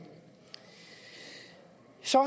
så